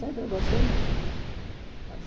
Sempre gostei muito.